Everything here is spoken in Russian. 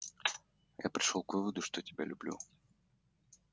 я пришёл к выводу что тебя люблю